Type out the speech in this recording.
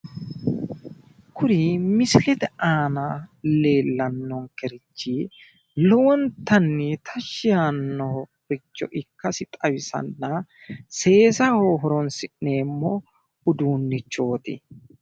Kuni misilete aana leellannonkerichi lowontanni tashi yaannoricho ikkasi xawisanna seesaho horoonsi'neemmo uduunnichooti